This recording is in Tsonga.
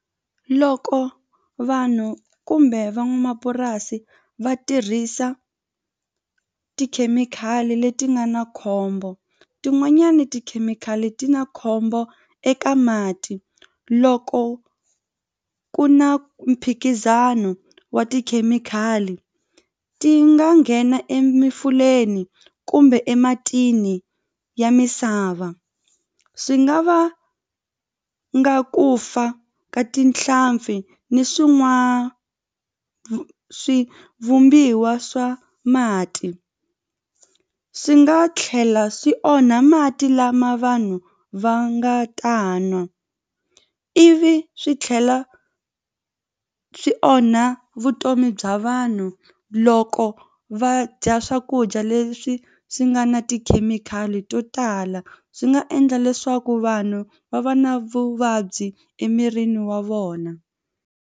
Loko vanhu kumbe van'wamapurasi va tirhisa tikhemikhali leti nga na khombo tin'wanyani tikhemikhali ti na khombo eka mati loko ku na mphikizano wa tikhemikhali ti nga nghena kumbe ematini ya misava swi nga vanga ku fa ka tinhlampfi ni vumbiwa swa mati swi nga tlhela swi onha mati lama vanhu va nga ta nwa ivi swi tlhela swi onha vutomi bya vanhu loko va dya swakudya leswi swi nga na tikhemikhali to tala swi nga endla leswaku vanhu va va na vuvabyi emirini wa vona.